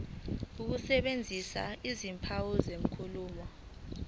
ukusebenzisa izimpawu zenkulumo